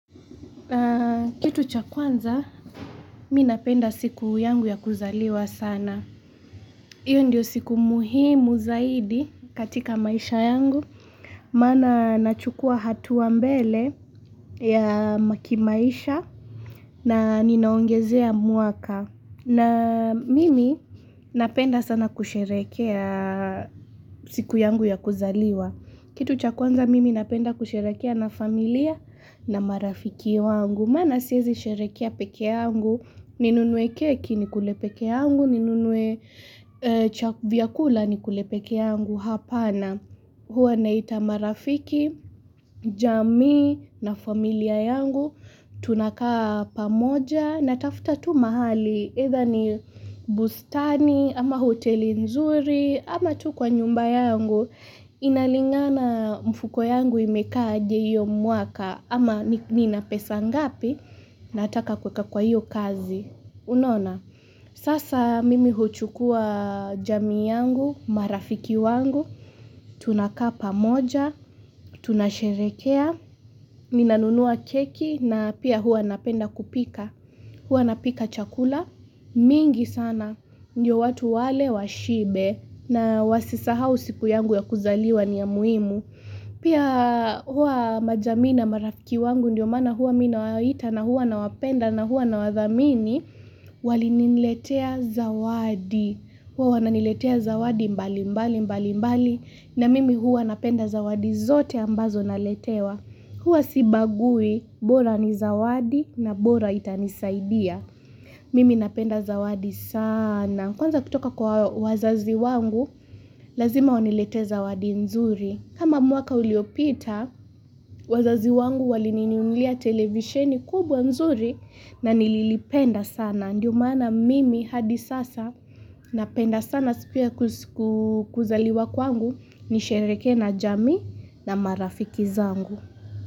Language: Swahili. Kitu cha kwanza, mi napenda siku yangu ya kuzaliwa sana. Iyo ndio siku muhimu zaidi katika maisha yangu. Maana nachukua hatua mbele ya ma kimaisha na ninaongezea mwaka. Na mimi napenda sana kusherekea siku yangu ya kuzaliwa. Kitu cha kwanza mimi napenda kusheherekea na familia na marafiki wangu. Maana siezi sherehekea peke yangu, ninunue keki nikule peke yangu, ninunue cha vyakula ni kule peke yangu hapana. Huwa naita marafiki, jamii na familia yangu, tunakaa pamoja natafuta tu mahali. Either ni bustani, ama hoteli nzuri, ama tu kwa nyumba yangu, inalingana mfuko yangu imekaa aje hio mwaka, ama ni nina pesa ngapi, nataka kuweka kwa hiyo kazi. Unaona, sasa mimi huchukua jamii yangu, marafiki wangu, tunakaa pamoja, tunasheherekea, mi nanunua keki na pia hua napenda kupika. Huwa napika chakula, mingi sana, ndiyo watu wale washibe na wasisahau siku yangu ya kuzaliwa ni ya muhimu. Pia hua majamii na marafiki wangu ndio maana hua mi nawaita na hua nawapenda na hua nawathamini, wali niletea zawadi, hua wana niletea zawadi mbali mbali mbali mbali na mimi hua napenda zawadi zote ambazo naletewa. Huwa sibabui bora ni zawadi na bora itanisaidia. Mimi napenda zawadi sana. Kwanza kutoka kwa wazazi wangu, lazima waniletee zawadi nzuri. Kama mwaka uliopita, wazazi wangu walinininulia televisheni kubwa nzuri na nililipenda sana. Ndiyo mana mimi hadi sasa napenda sana siku ya kuzaliwa kwangu nisheherekee na jamii na marafiki zangu.